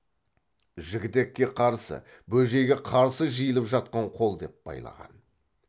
жігітекке қарсы бөжейге қарсы жиылып жатқан қол деп байлаған